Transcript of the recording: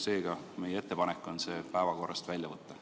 Seega on meie ettepanek see punkt päevakorrast välja võtta.